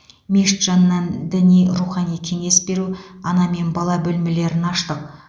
мешіт жанынан діни рухани кеңес беру ана мен бала бөлмелерін аштық